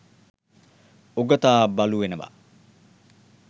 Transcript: උගතා බලු වෙනවා.